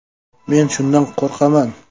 Men shundan qo‘rqaman.